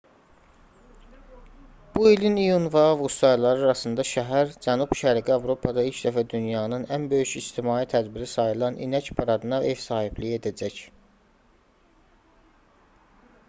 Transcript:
bu ilin iyun və avqust ayları arasında şəhər cənub-şərqi avropada ilk dəfə dünyanın ən böyük ictimai tədbiri sayılan i̇nək paradına ev sahibliyi edəcək